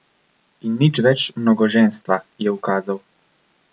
In nič več mnogoženstva, je ukazal!